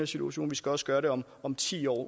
situation vi skal også gøre det om om ti år